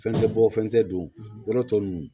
Fɛn tɛ bɔ fɛn tɛ don yɔrɔ tɔ nunnu